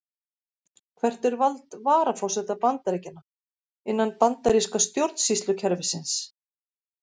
Hvert er vald varaforseta Bandaríkjanna, innan bandaríska stjórnsýslukerfisins?